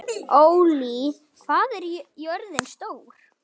Ollý, hvað er jörðin stór?